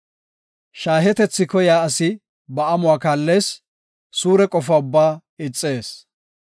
Shaahetethi koyiya asi ba amuwa kaallees; suure qofa ubbaa ixees.